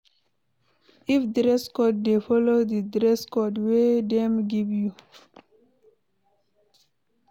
If dress code de follow di dress code wey dem give you